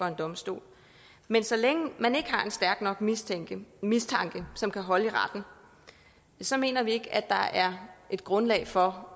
en domstol men så længe man ikke har en stærk nok mistanke mistanke som kan holde i retten så mener vi ikke at der er et grundlag for